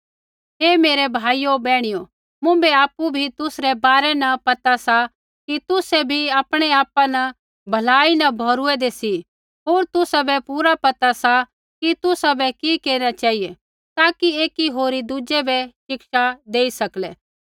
हे मेरै भाइयो बैहणियो मुँभै आपु भी तुसरै बारै न पता सा कि तुसै भी आपणैआपा न भलाई न भौरुऐदै सी होर तुसाबै पूरा पता सा कि तुसाबै कि केरना चेहिऐ ताकि एकी होरी दुज़ै बै शिक्षा देई सकलै